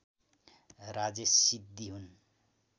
राजेश सिद्धि हुन्